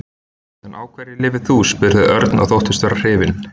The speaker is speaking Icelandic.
En á hverju lifir þú? spurði Örn og þóttist vera hrifinn.